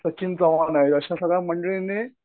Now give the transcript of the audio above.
सचिन चव्हाण आहे अशा सगळ्या मंडळींनी.